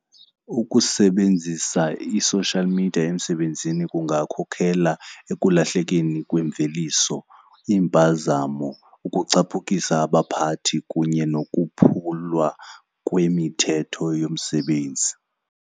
Ukusebenzisa i-social media emsebenzini kungakhokela ekulahlekeni kwemveliso, iimpazamo, ukucaphukisa abaphathi kunye nokuphulwa kwemithetho yomsebenzi.